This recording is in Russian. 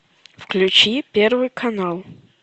включи первый канал